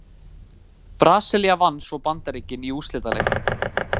Brasilía vann svo Bandaríkin í úrslitaleiknum.